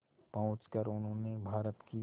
पहुंचकर उन्होंने भारत की